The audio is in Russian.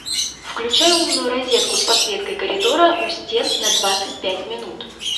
включай умную розетку с подсветкой коридора у стен на двадцать пять минут